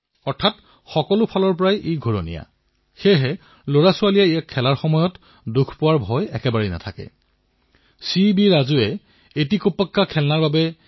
আমি এইবোৰৰ ওপৰত গেম প্ৰস্তুত কৰিব নোৱাৰোনে মই দেশৰ যুৱ প্ৰতিভাক কৈছো আপোনালোকে ভাৰততো গেম নিৰ্মাণ কৰক আৰু ভাৰতৰ ওপৰতো গেম নিৰ্মাণ কৰক